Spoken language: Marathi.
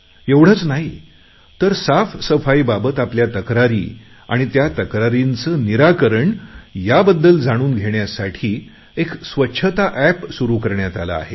एवढेच नाही तर साफसफाई बाबत आपल्या तक्रारी आणि त्या तक्रारींचे निराकरण याबद्दल जाणून घेण्यासाठी एक स्वच्छता एप सुरु करण्यात आले आहे